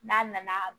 N'a nana